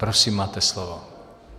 Prosím, máte slovo.